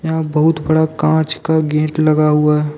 यहां बहुत बड़ा कांच का गेट लगा हुआ है।